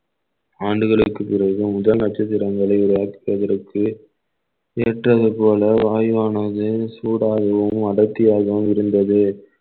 ஆண்டுகளுக்குப் பிறகு முதல் நட்சத்திரங்களை உருவாக்குவதற்கு ஏற்றது போல வாயுவானது சூடாகவும் அடர்த்தியாகவும் இருந்தது